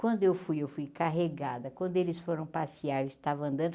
Quando eu fui, eu fui carregada, quando eles foram passear, eu estava andando,